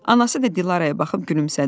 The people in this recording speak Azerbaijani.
Anası da Dilaraya baxıb gülümsədi.